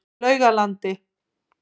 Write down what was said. Laugalandi